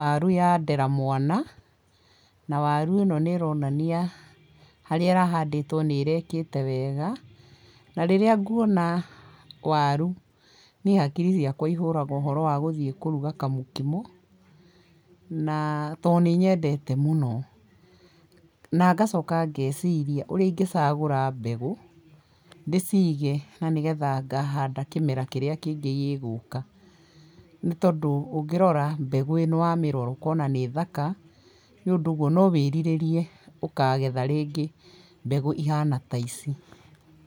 Waru ya ndera mwana, na waru ĩno nĩ ĩronania harĩa ĩrahandĩtwo nĩ ĩrekĩte wega, na rĩrĩa nguona waru, niĩ hakiri ciakwa ihũraga ũhoro wa gũthiĩ kũruga kamũkimo na tondũ nĩ nyendete mũno, na ngacoka ngeciria ũrĩa ingĩcagũra mbegũ ndĩcige na nĩgetha ngahanda kĩmera kĩrĩa kĩngĩ gĩgũka nĩ tondũ ũngĩrora warora mbegũ ĩno ũkona nĩthaka nĩ ũndũ ũguo no wĩrirĩrie ũkagetha rĩngĩ mbegũ ihana ta ici.